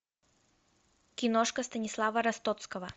киношка станислава ростоцкого